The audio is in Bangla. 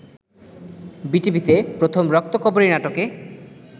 বিটিভিতে প্রথম ‘রক্তকরবী’ নাটকে